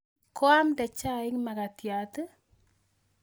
Koamde chaik makatiat i?